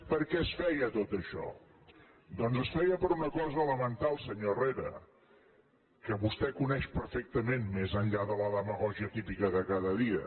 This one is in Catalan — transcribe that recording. per què es feia tot això doncs es feia per una cosa elemental senyor herrera que vostè coneix perfectament més enllà de la demagògia típica de cada dia